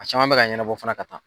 A caman bɛ ka ɲɛnabɔ fana ka taa.